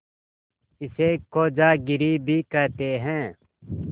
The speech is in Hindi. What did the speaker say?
इसे खोजागिरी भी कहते हैं